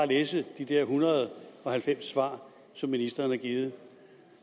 læse de der en hundrede og halvfems svar som ministeren har givet